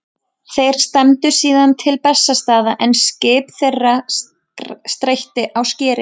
Þeir stefndu síðan til Bessastaða en skip þeirra steytti á skeri.